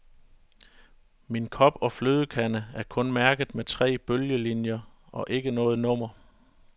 Min kop og flødekande er kun mærket med tre bølgelinjer og ikke noget nummer.